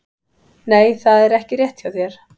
Nei, það er ekki rétt hjá þér!